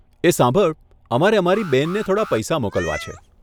એ સાંભળ, અમારે અમારી બેનને થોડાં પૈસા મોકલવા છે.